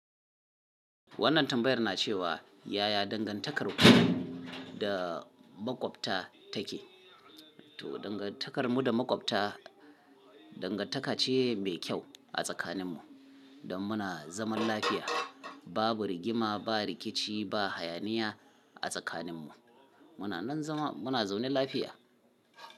Wannan tambayar na cewa yaya dangantakar mu da makwabta take? To, dangantakar mu da makwabta dangantaka ce mai kyau a tsakanin mu don muna zaman lafiya. Babu rigima, ba rikici, ba hayaniya a tsakanin mu. Muna nan zama muna zaune lafiya.